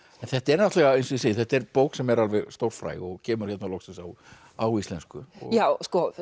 en þetta er náttúrulega eins og ég segi þetta er bók sem er alveg stórfræg og kemur hérna loksins á á íslensku já